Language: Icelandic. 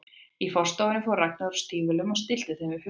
Í forstofunni fór Ragnar úr stígvélunum og stillti þeim upp við vegginn.